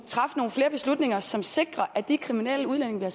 træffe nogle flere beslutninger som sikrer at de kriminelle udlændinge vi har